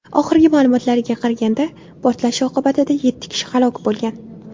Oxirgi ma’lumotlarga qaraganda portlash oqibatida yetti kishi halok bo‘lgan.